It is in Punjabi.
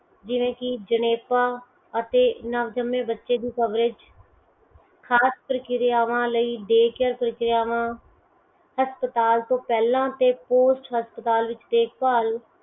ਜਿਵੇ ਕਿ ਜਨੇਪਾ ਅਤੇ ਨਵਜੰਮੇ ਬੱਚੇ ਦੀ ਕਵਰੇਜ ਖ਼ਾਸ ਪ੍ਰਕ੍ਰਿਆਵਾਂ ਲਈ ਦੇਖ ਪ੍ਰਕਿਰਿਆਵਾਂ ਹਸਪਤਾਲ ਤੋਂ ਪਹਿਲਾ ਤੇ post ਹਸਪਤਾਲ ਚ ਦੇਖ ਭਾਲ